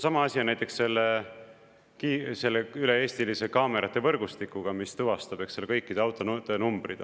Sama asi on näiteks selle üle-eestilise kaamerate võrgustikuga, mis tuvastab kõikide autode numbrid.